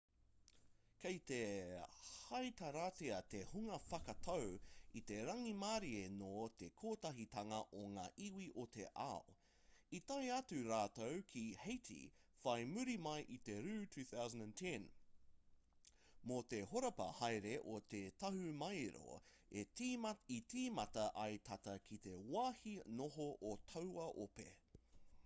kei te heitaratia te hunga whakatau i te rangimārie nō te kotahitanga o ngā iwi o te ao i tae atu rātou ki haiti whai muri mai i te rū 2010 mō te horapa haere o te tahumaero i tīmata ai tata ki te wāhi noho o taua ope